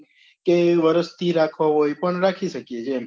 કે વરસ થી રાખવા હોય પણ રાખી શકીએ છીએ એમ્